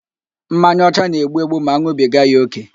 Mmanya ọcha na-egbu egbu ma an̄ụbiga ya ókè